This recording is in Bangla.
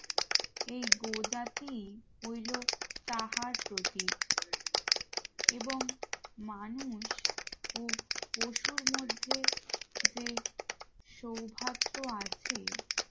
এই গো জাতি হইল তাহার প্রতি এবং মানুষ ও পশুর মধ্যে যে সৌভাত্র আছে